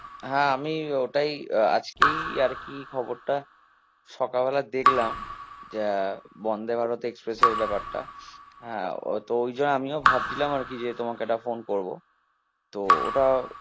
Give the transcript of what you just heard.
হ্যাঁ আমি ওটাই আহ আজকেই আর কি খবরটা সকাল বেলা দেখলাম, যা বন্ধে ভারত এক্সপ্রেস এর ব্যাপারটা আহ তো ওই যো আমিও ভাবছি যে তোমাকে একটা phone করবো তো ওটা